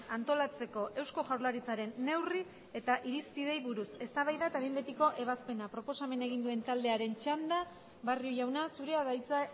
antolatzeko eusko jaurlaritzaren neurri eta irizpideei buruz eztabaida eta behin betiko ebazpena proposamena egin duen taldearen txanda barrio jauna zurea da hitza